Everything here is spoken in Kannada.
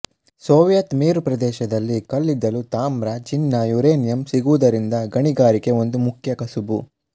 ಸೋವಿಯತ್ ಮೇರುಪ್ರದೇಶದಲ್ಲಿ ಕಲ್ಲಿದ್ದಲು ತಾಮ್ರ ಚಿನ್ನ ಯುರೇನಿಯಂ ಸಿಗುವುದರಿಂದ ಗಣಿಗಾರಿಕೆ ಒಂದು ಮುಖ್ಯ ಕಸಬು